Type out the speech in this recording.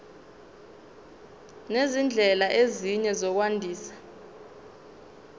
nezindlela ezinye zokwandisa